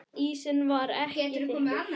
Ísinn var ekki þykkur.